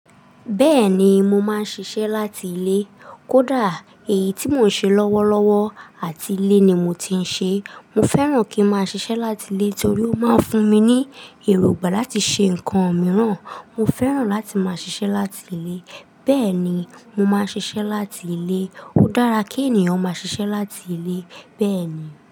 Bẹ́ẹ̀ni, mo máa ń ṣiṣẹ́ láti ilé. Kódà èyí tí mò ń ṣe lọ́wọ́lọ́wọ́ àti ilé ni mo ti ń ṣe. Mo fẹ́ràn kí n máa ṣiṣẹ́ láti ilé torí ó máa ń fún mi ní èrògbà láti ṣe nǹkan mìíràn. Mo fẹ́ràn láti máa ṣiṣẹ́ láti ilé. Bẹ́ẹ̀ni, mo máa ń ṣiṣẹ́ láti ilé. Ó dára kí ènìyàn máa ṣiṣẹ́ láti ilé bẹ́ẹ̀ ni.